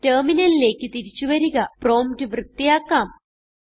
ടെർമിനലിലേക്ക് തിരിച്ചു വരിക പ്രോംപ്റ്റ് വൃത്തിയാക്കാം